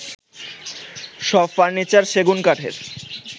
সব ফার্নিচার সেগুন কাঠের